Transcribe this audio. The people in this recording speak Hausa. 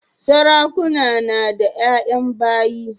Sarakuna nada yayan bayi